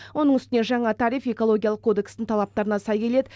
оның үстіне жаңа тариф экологиялық кодекстің талаптарына сай келеді